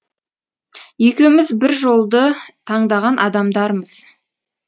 екеуміз бір жолды таңдаған адамдармыз